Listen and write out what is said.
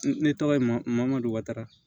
Ne tɔgɔ ye mamadu wara